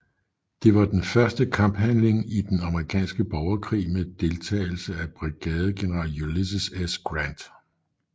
Det var den første kamphandling i den amerikanske borgerkrig med deltagelse af brigadegeneral Ulysses S